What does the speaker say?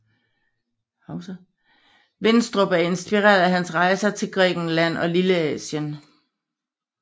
Winstrup og inspireret af hans rejser til Grækenland og Lilleasien